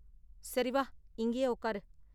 சரி வா, இங்கயே உக்காரு